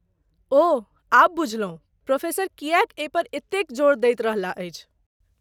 ओह, आब बुझलहुँ प्रोफेसर किएक एहिपर एतेक जोर दैत रहलाह अछि।